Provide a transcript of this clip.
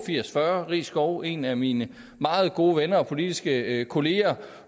fyrre risskov en af mine meget gode venner og politiske kollegaer